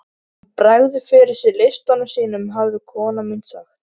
Ef til vill skýrir það af hverju maðurinn lætur svona.